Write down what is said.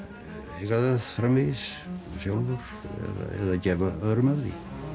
eiga það framvegis sjálfur eða gefa öðrum af því